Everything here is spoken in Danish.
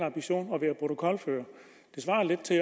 ambition at være protokolfører det svarer lidt til